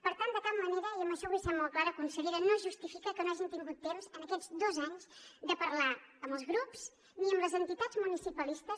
per tant de cap manera i en això vull ser molt clara consellera no es justifica que no hagin tingut temps en aquests dos anys de parlar amb els grups ni amb les entitats municipalistes